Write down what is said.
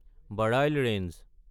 Barail range